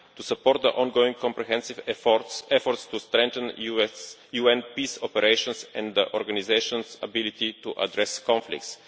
to support the ongoing comprehensive efforts to strengthen US UN peace operations and the organisation's ability to address conflicts